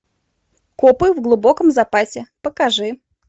копы в глубоком запасе покажи